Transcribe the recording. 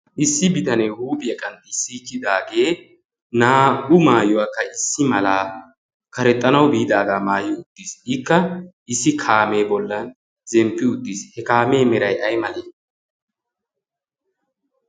issi bitanee huuphi aqanxissiikkidaagee na'u maayuwaakka issi malaa karexxanau biidaagaa maayi uttiis ikka issi kaamee bollan zemppi uttiis. he kaamee merai ai male?